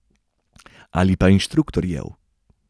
Ali pa inštruktorjev.